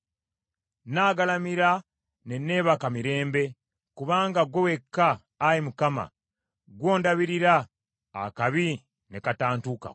Nnaagalamira ne nneebaka mirembe; kubanga ggwe wekka, Ayi Mukama , ggwe ondabirira akabi ne katantuukako.